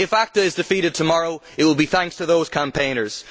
If ACTA is defeated tomorrow, it will be thanks to those campaigners.